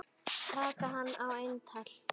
Taka hann á eintal.